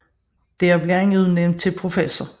Der blev han udnævnt til professor